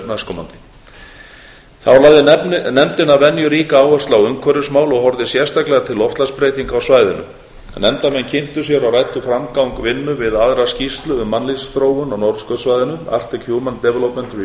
næstkomandi þá lagði nefndin að venju ríka áherslu á umhverfismál og horfði sérstaklega til loftslagsbreytinga á svæðinu nefndarmenn kynntu sér og ræddu framgang vinnu við aðra skýrslu um mannlífsþróun á norðurskautssvæðinu arctic